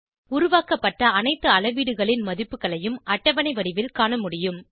உருவாக்கப்பட்ட அனைத்து அளவீடுகளின் மதிப்புகளையும் அட்டவணை வடிவில் காணமுடியும்